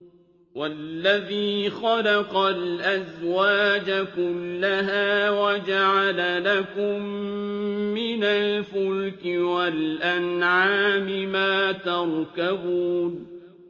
وَالَّذِي خَلَقَ الْأَزْوَاجَ كُلَّهَا وَجَعَلَ لَكُم مِّنَ الْفُلْكِ وَالْأَنْعَامِ مَا تَرْكَبُونَ